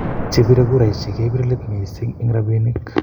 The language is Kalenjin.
chebire kuraishek kepiree leet missing eng robinik